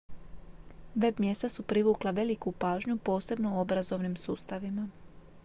web-mjesta su privukla veliku pažnju posebno u obrazovnim sustavima